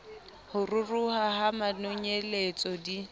ho ruruha ha manonyeletso di